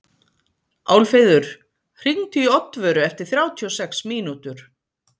Álfheiður, hringdu í Oddvöru eftir þrjátíu og sex mínútur.